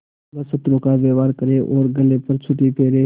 वह शत्रु का व्यवहार करे और गले पर छुरी फेरे